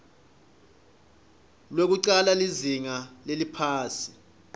lwekucala lizinga leliphasi